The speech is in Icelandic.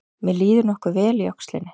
Mér líður nokkuð vel í öxlinni